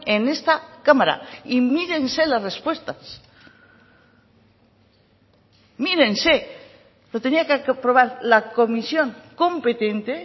en esta cámara y mírense las respuestas mírense lo tenía que aprobar la comisión competente